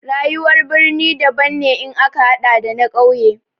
Rayuwar birni daban ne in ka haɗa da na ƙauye.